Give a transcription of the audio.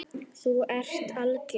Þú ert algjör!